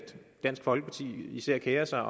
dansk folkeparti især kerer sig